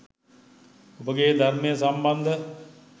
ඔබගේ ධර්මය සම්බන්ධ